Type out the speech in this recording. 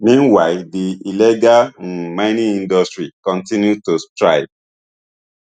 meanwhile di illegal um mining industry kontinu to